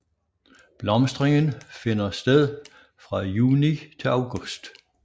Blomstringen finder sted fra juni til august